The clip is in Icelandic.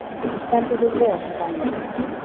Þú stendur þig vel, Daníella!